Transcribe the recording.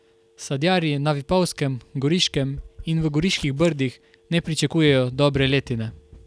Sadjarji na Vipavskem, Goriškem in v Goriških brdih ne pričakujejo dobre letine.